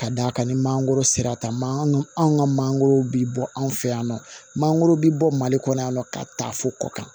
Ka d'a kan ni mangoro sera taama anw ka mangoro bi bɔ anw fɛ yan nɔ mangoro bi bɔ mali kɔnɔ yan nɔ ka taa fo kɔ kan